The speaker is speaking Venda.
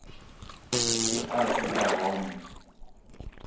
i athu u vha hone